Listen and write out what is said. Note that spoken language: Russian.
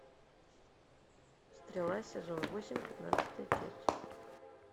стрела сезон восемь пятнадцатая часть